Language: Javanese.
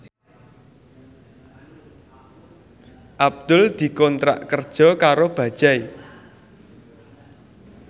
Abdul dikontrak kerja karo Bajaj